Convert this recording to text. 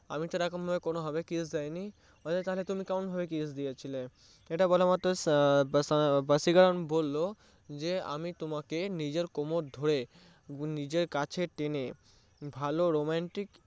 আমি তো এরকমভাবে kiss করিনি বলে তাহলে তুমি কেমনভাবে kiss দিয়েছিলে এটা বলা মাত্রই ভাসীকারান বললো যে আমি তোমাকে নিজে তোমার কোমড় ধরে নিজের কাছে টেনে ভালো romantic